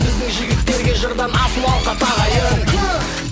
біздің жігіттерге жырдан асыл алқа тағайын